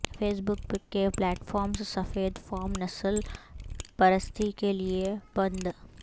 face بک کے platforms سفید فام نسل پرستی کے لیے بند